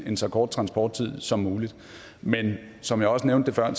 en så kort transporttid som muligt men som jeg også nævnte før